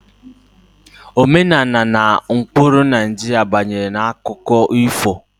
Omenala na ụkpụrụ Naịjirịa gbanyere n'akụkọ ifo